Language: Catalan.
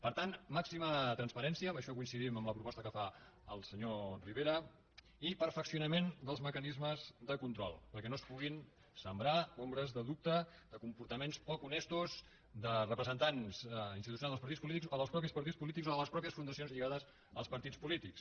per tant màxima transparència en això coincidim amb la proposta que fa el senyor rivera i perfeccionament dels mecanismes de control perquè no es puguin sembrar ombres de dubte de comportaments poc honestos de representants institucionals dels partits polítics o dels mateixos partits polítics o de les mateixes fundacions lligades als partits polítics